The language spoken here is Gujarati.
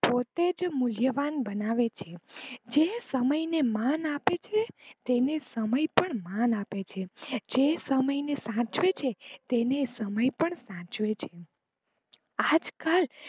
પોતે જ મૂલ્યવાન બનાવે છે જે સમય ને માન આપે છે તેને સમય પણ માન આપે છે જે સમય ને સાચવે છે તેને સમય પણ સાચવે છે આજકાલ